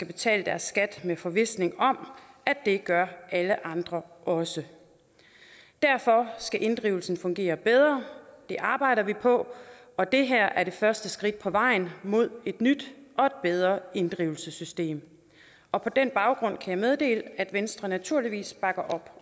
betale deres skat i forvisning om at det gør alle andre også derfor skal inddrivelsen fungere bedre det arbejder vi på og det her er det første skridt på vejen mod et nyt og et bedre inddrivelsessystem og på den baggrund kan jeg meddele at venstre naturligvis bakker op